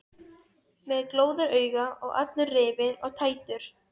Með glóðarauga og allur rifinn og tættur.